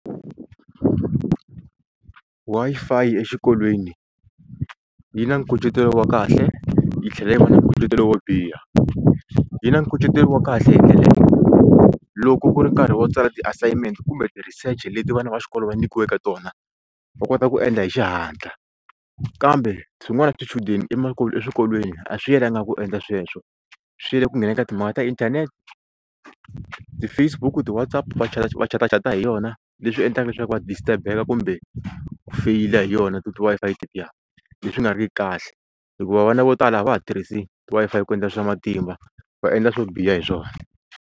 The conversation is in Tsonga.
Wi-Fi exikolweni yi na nkucetelo wa kahle yi tlhela yi va na nkucetelo wo biha yi na nkucetelo wa kahle hi ndlela leyo loko ku ri nkarhi wo tsala ti-assignment i kumbe ti-research leti vana va xikolo va nyikiweke tona va kota ku endla hi xihatla kambe swin'wana swichudeni emakumu eswikolweni a swi yelanga ku endla sweswo swi yele ku nghena eka timhaka ta inthanete, ti-Facebook ti-WhatsApp va va chatachata hi yona leswi endlaka leswaku va distrurbe-eka kumbe ku feyila hi yona ti Wi-Fi tetiya leswi nga ri kahle hikuva vana vo tala a va ha tirhisi Wi-Fi ku endla swa matimba va endla swo biha hi swona.